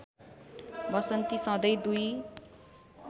वसन्ती सधैँ दुई